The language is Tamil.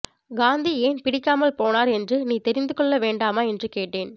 காந்தி ஏன் பிடிக்காமல் போனார் என்று நீ தெரிந்து கொள்ள வேண்டாமா என்று கேட்டேன்